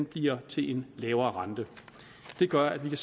bliver til en lavere rente det gør at vi